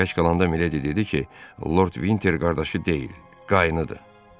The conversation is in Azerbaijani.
Tək qalanda Mileydi dedi ki, Lord Vinter qardaşı deyil, qaynıdır.